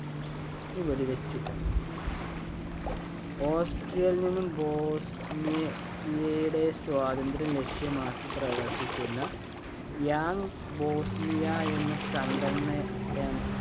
ന് വെടിവച്ചുകൊന്നു. ഓസ്ട്രിയയിൽ നിന്നും ബോസ്നിയയയുടെ സ്വാതന്ത്ര്യം ലക്ഷ്യമാക്കി പ്രവർത്തിച്ചിരുന്ന Young bosnia എന്ന സംഘടന